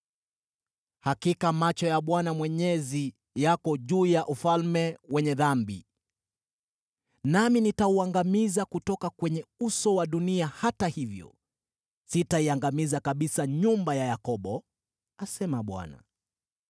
“Hakika macho ya Bwana Mwenyezi yako juu ya ufalme wenye dhambi. Nami nitauangamiza kutoka kwenye uso wa dunia: hata hivyo sitaiangamiza kabisa nyumba ya Yakobo,” asema Bwana .